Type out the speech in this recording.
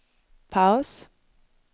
paus